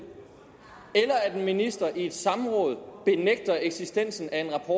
eller at en minister i et samråd benægter eksistensen af en rapport